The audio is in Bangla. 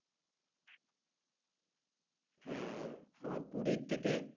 হম আবার পুরির থেকে